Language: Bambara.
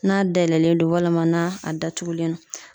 N'a dayɛlɛlen do walima na a datugulen do.